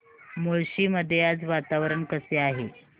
मुळशी मध्ये आज वातावरण कसे आहे